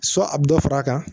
So a bɛ dɔ far'a kan